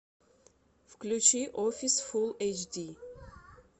включи офис фул эйч ди